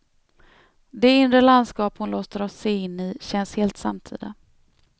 Det inre landskap hon låter oss se in i känns helt samtida.